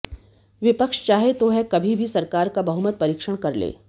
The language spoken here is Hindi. विपक्ष चाहे तो वह कभी भी सरकार का बहुमत परीक्षण कर ले